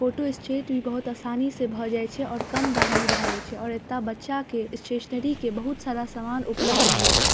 Photo state भी बहुत आसानी से भ जाय छै और कम दाम में भाय जाय छै और एता बच्चा के स्टेशनरी के बहुत सारा सामान उपलब्ध रहे छै।